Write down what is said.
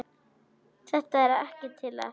Þetta er ekkert til að.